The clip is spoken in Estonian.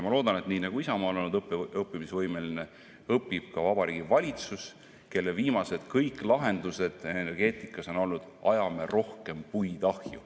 Ma loodan, et nii nagu Isamaa on olnud õppimisvõimeline, õpib ka Vabariigi Valitsus, kelle kõik viimased lahendused energeetikas on olnud, et ajame rohkem puid ahju.